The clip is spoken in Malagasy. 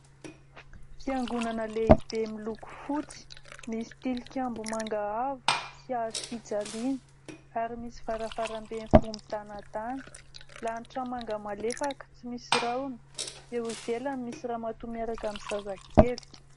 Fiangonana lehibe miloko fotsy, misy tilikambo manga avo sy hazo fijaliana ary misy varavaram-be mivoha midanadana. Lanitra manga malefaka tsy misy rahona. Eo ivelany misy ramatoa miaraka amin'ny zazakely.